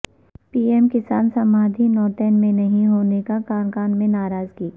پی ایم کسان سماندھی نوتن میں نہیں ہونے سے کارکنان میں ناراضگی